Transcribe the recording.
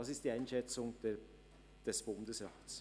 Das ist die Einschätzung des Bundesrats.